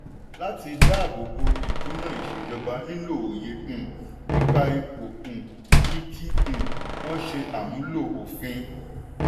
láti dáábò bo ìdúnàá ìṣejọba nílò òye um nípa ipò um yìí kí um wọ́n ṣe àmúlò òfin.